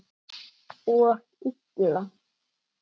Og illa.